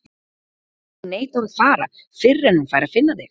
Hún neitar að fara fyrr en hún fær að finna þig.